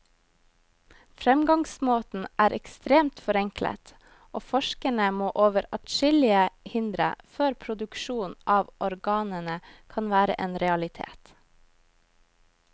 Fremgangsmåten er ekstremt forenklet, og forskerne må over adskillige hindre før produksjon av organene kan være en realitet.